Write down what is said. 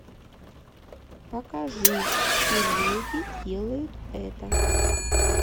покажи все леди делают это